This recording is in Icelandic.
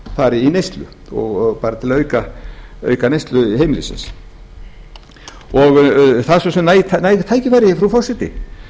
fari í neyslu til að auka neyslu heimilisins það eru svo sem næg tækifæri frú forseti